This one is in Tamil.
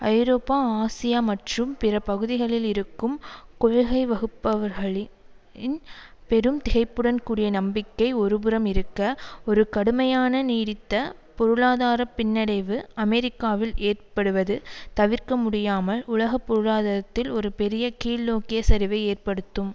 ஐரோப்பா ஆசியா மற்றும் பிற பகுதிகளில் இருக்கும் கொள்கை வகுப்பவர்களின் பெரும் திகைப்புடன் கூடிய நம்பிக்கை ஒரு புறம் இருக்க ஒரு கடுமையான நீடித்த பொருளாதார பின்னடைவு அமெரிக்காவில் ஏற்படுவது தவிர்க்க முடியாமல் உலக பொருளாதாரத்தில் ஒரு பெரிய கீழ்நோக்கிய சரிவை ஏற்படுத்தும்